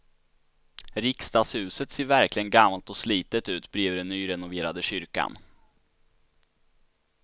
Riksdagshuset ser verkligen gammalt och slitet ut bredvid den nyrenoverade kyrkan.